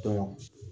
Dɔn